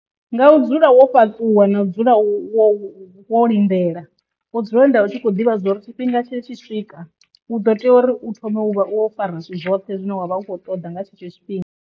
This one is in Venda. Nga u dzula wo fhaṱuwa na dzula wo wo lindela wo dzula lindela u tshi kho ḓivha dza uri tshifhinga tshi tshi swika u ḓo tea uri u thome u vha o fara zwithu zwoṱhe zwine wavha ukho ṱoda nga tshetsho tshifhinga.